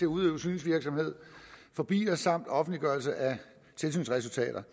udøve synsvirksomhed for biler samt offentliggørelse af tilsynsresultater